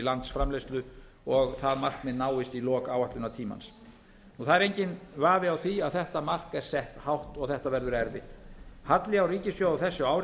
landsframleiðslu og það markmið náist í lok áætlunartímans það er enginn vafi á því að þetta mark er sett hátt og þetta verður erfitt halli á ríkissjóði á þessu ári